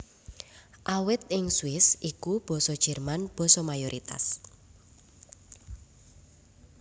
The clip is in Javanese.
Awit ing Swiss iku Basa Jerman basa mayoritas